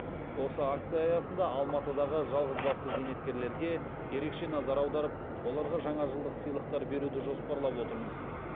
осы акция аясында алматыдағы жалғызбасты зейнеткерлерге ерекше назар аударып оларға жаңажылдық сыйлықтар беруді жоспарлап отырмыз